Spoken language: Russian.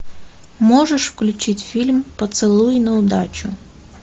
можешь включить фильм поцелуй на удачу